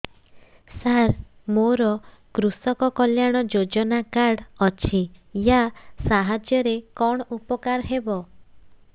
ସାର ମୋର କୃଷକ କଲ୍ୟାଣ ଯୋଜନା କାର୍ଡ ଅଛି ୟା ସାହାଯ୍ୟ ରେ କଣ ଉପକାର ହେବ